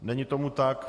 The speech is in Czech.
Není tomu tak.